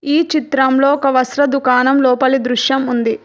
ఈ చిత్రంలో ఒక వస్త్ర దుకాణం లోపలి దృశ్యం ఉంది.